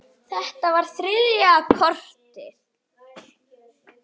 Mamma fór að kjökra.